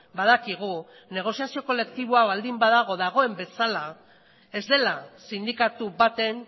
badakigu negoziazio kolektibo hau baldin badago dagoen bezala ez dela sindikatu baten